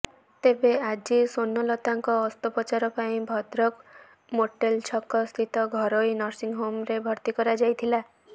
ତେବେ ଆଜି ସ୍ବର୍ଣ୍ଣଲତାଙ୍କ ଅସ୍ତ୍ରୋପଚାର ପାଇଁ ଭଦ୍ରକ ମୋଟେଲ ଛକ ସ୍ଥିତ ଘରୋଇ ନର୍ସିଂହୋମରେ ଭର୍ତ୍ତି କରାଯାଇଥିଲା